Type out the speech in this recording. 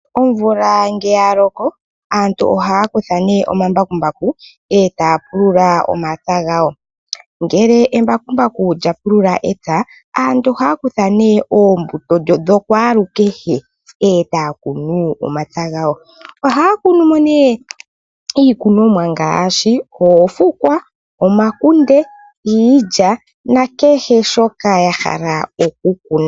Omvula ngele yaloko aantu ohaya kutha nee omambakumbu etaya pulula omapya gawo. Ngele embakumbaku lya pulula epya aantu ohaya kutha nee oonbuto dhokwaalukehe ohaya kunu iikunomwa ngaashi oofukwa, omakunde ,iilya nakehe shoka yahala okukuna.